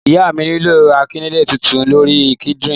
Ìyá mi nílò ìkànnlé titun lórí líńkdín